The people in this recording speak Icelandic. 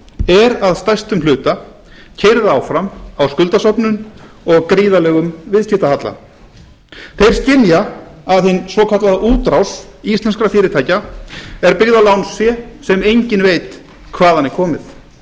er að stærstum hluta keyrð áfram á skuldasöfnun og gríðarlegum viðskiptahalla þeir skynja að hin svokallaða útrás íslenskra fyrirtækja er byggð á lánsfé sem enginn veit hvaðan er komið